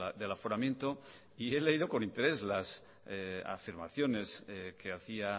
del aforamiento y he leído con interés las afirmaciones que hacía